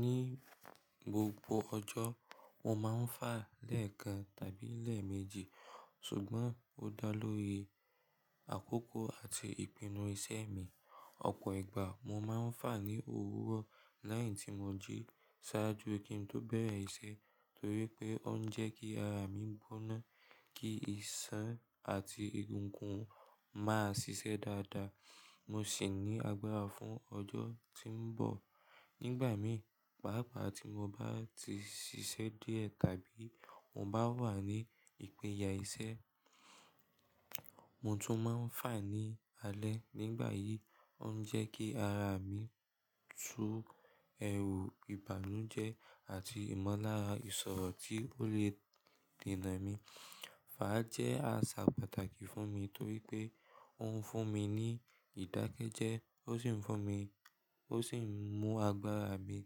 Ní gbogbo ọjọ́, mo máa ń fà lẹ́ẹ̀kan tàbí lẹ́ẹ̀mejì, ṣùgbọ́n ó dá lórí àkókò àti ìpinnu iṣẹ́ mi. Ọ̀pọ̀ ìgbà mo máa ń fà ní òwúrọ̀ lẹ́yìn tí mo jí sáájú kí n tó bẹ̀rẹ̀ iṣẹ́ torí pé ó ń jẹ́ kí ara mi gbóná, kí iṣan àti egungun máa ṣiṣẹ́ dáadáa, mo sì ní agbára fún ọjọ́ tí ń bọ̀. Nígbà mìí n, pàápàá tí mo bá ti ṣiṣẹ́ díẹ̀ tàbí mo bá wà ní ìpínyà iṣẹ́, mo tún máa ń fà ní alẹ́. Nígbà yìí, ó ń jẹ́ kí ara mì tú ẹrù ìbànújẹ́ àti ìmọ̀lára ìṣọ̀rọ̀ tí ó le dennà mi. Fà jẹ́ àṣà pàtàkì fún mi torí pé ó ń fún mi ní ìdákẹ́jẹ́, ó sì ń fún mi-- ó sì ń mú agbára mi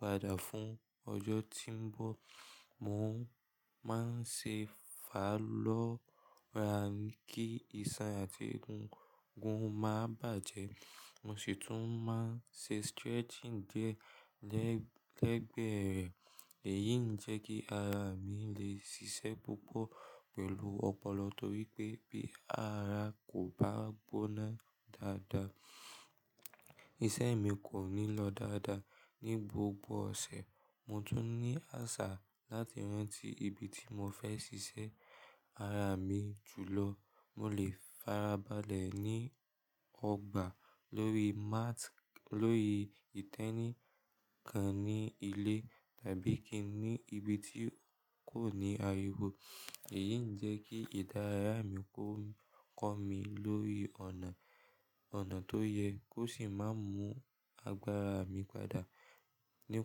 padà fún ọjọ́ tí ń bọ̀. Mo máa ń ṣe fà lọ́ra kí iṣan àti egungun má bàjẹ́. Mo sì tún máa ń ṣe stretching díẹ̀ lẹ́gbẹ̀ẹ́ rẹ̀. Èyí ń jẹ́ kí ara mi lè ṣiṣẹ́ púpọ̀ pẹ̀lú ọpọlọ torí pé bí ara kò bá gbóná dáadáa, iṣẹ́ mi kò ní lọ dáadáa. Ni gbogbo ọ̀sẹ̀, mo tún ní àṣà láti rántí ibi tí mo fẹ́ ṣiṣẹ́ ara mi jù lọ. Mo lè farabalẹ̀ ní ọgbà lórí mat, lórí ìtẹ́nì kan ní ilé tàbí kí í ní ibi tí kò ní ariwo. Èyí ń jẹ́ kí ìdáraya mi kó kọ́ mi lórí ọ̀nà, ọ̀nà tó yẹ kó sì má mú agbára mi padà. Ni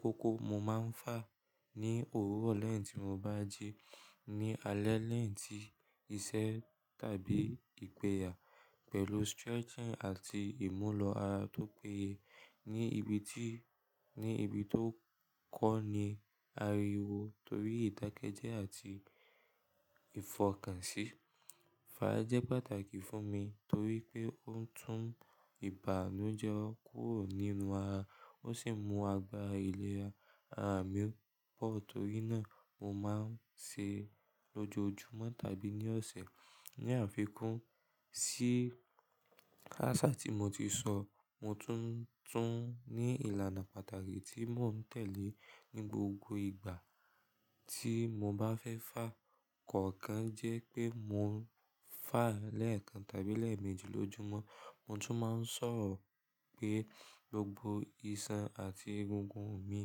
kókó, mo máa ń fà ní òwúrọ̀ lẹ́yìn tí mo bá jí, ní alẹ́ lẹ́yìn ti iṣẹ́ tàbí ìpínyà pẹ̀lú stretching àti imulo ara tó péye ní ibi tí, ní ibi tó kọ́ ni ariwo torí ìdákẹ́jẹ́ àti ìfọkànsí. Fà jẹ́ pàtàkì fún mi torí pé ó ń tún ìbànújẹ́ kúrò nínú ara, ó sì ń mú agbára ìlera ara mi pọ̀. Torí náà, mo máa ń ṣe lọ́jọ́ júmọ́ tàbí ní ọ̀sẹ̀. Ní àfikún sí àṣà tí mo ti sọ, mo tún ń ní ìlànà pàtàkì tí mo ń tẹ̀lé ní gbogbo ìgbà tí mo bá fẹ́ fà. Ọ̀kan jẹ́ pé mo ń fà lẹ́ẹ̀kan tàbí lẹ́ẹ̀mejì lójúmọ́. Mo tún máa ń ṣọ̀rọ̀ pé gbogbo iṣan àti egungun mi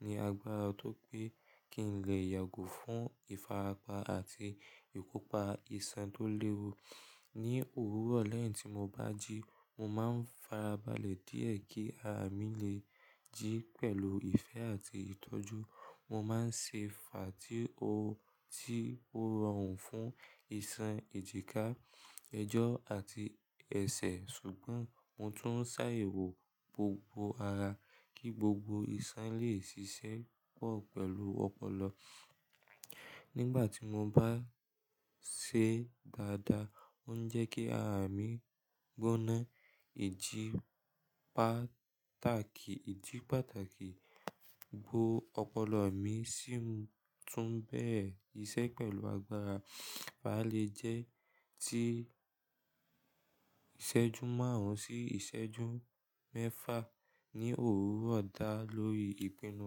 ní agbára tó pé kí n lè yàgò fún ìfarapa àti ìkópa iṣan tó léwu. Ni òwúrọ̀ lẹ́yìn tí mo bá jí, mo máa ń farabalẹ̀ díẹ̀ kí ara mi lè jí pẹ̀lú ìfẹ́ àti ìtọ́jú. Mo máa ń ṣe fà tí ó, tí ó rọrùn fún iṣan ìjìká, ẹjọ́ àti ẹsẹ̀. Ṣùgbọ́n mo tún ń sá ewu gbogbo ara kí gbogbo iṣan lè ṣiṣẹ́ pọ̀ pẹ̀lú ọpọlọ. Nígbà tí mo bá ṣe dáadáa, ó ń jẹ́ kí ara mi gbóná, ìjì pàtàkì, ìjì pàtàkì bo ọpọlọ mi sì ń tún bẹ̀rẹ̀ iṣẹ́ pẹ̀lú agbára. Fà lè jẹ́ ti ìṣẹ́jú márùn-ún sí ìṣẹ́jú mẹ́fà ní òwúrọ̀ dá lórí ìpinnu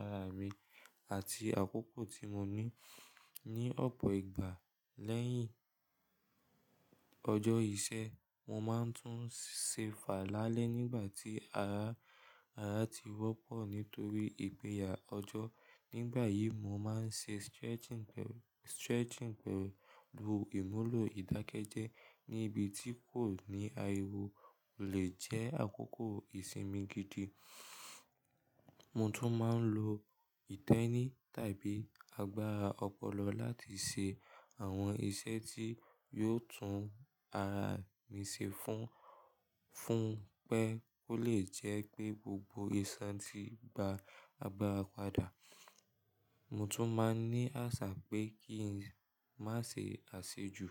ara mi àti àkókò tí mo ní ní ọ̀pọ̀ ìgbà. Lẹ́yìn ọjọ́ iṣẹ́, mo máa ń tún ṣe fà lálẹ́ nígbà tí ara, ara ti wọ́pọ̀ nítorí ìpínyà ọjọ́. Nígbà yìí, mo máa ń ṣe stretching pẹ̀lú, stretching pẹ̀lú imulo ìdákẹ́jẹ́ ní ibi tí kò ní ariwo lè jẹ́ àkókò ìsinmi gidi. Mo tún máa ń lo ìtẹ́nì tàbí agbára ọpọlọ láti ṣe àwọn iṣẹ́ tí yóò tún ara mi ṣe fún, fún pé kó lè jẹ́ pé gbogbo iṣan ti ba agbára padà. Mo tún máa ń ní àṣà pé kí n má ṣe àsèjù.